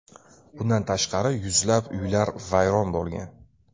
Bundan tashqari, yuzlab uylar vayron bo‘lgan.